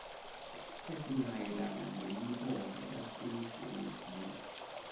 esimayelana nemibango yasemsebenzini